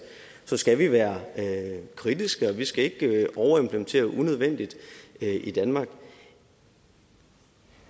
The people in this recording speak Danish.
skal vi være kritiske og vi skal ikke overimplementere unødvendigt i danmark